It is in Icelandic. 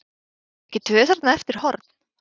Komu ekki tvö þarna eftir horn?